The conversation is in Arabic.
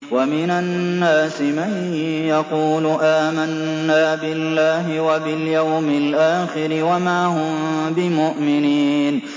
وَمِنَ النَّاسِ مَن يَقُولُ آمَنَّا بِاللَّهِ وَبِالْيَوْمِ الْآخِرِ وَمَا هُم بِمُؤْمِنِينَ